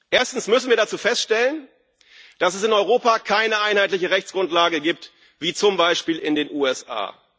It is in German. Erstens müssen wir dazu feststellen, dass es in Europa keine einheitliche Rechtsgrundlage gibt wie zum Beispiel in den USA.